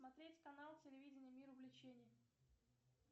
смотреть канал телевидение мир увлечений